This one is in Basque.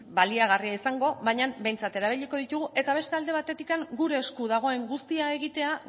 baliagarria izango baina behintzat erabiliko ditugu eta beste alde batetik gure esku dagoen guztia egitea